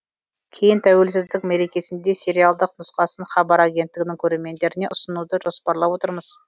кейін тәуелсіздік мерекесінде сериалдық нұсқасын хабар агенттігінің көрермендеріне ұсынуды жоспарлап отырмыз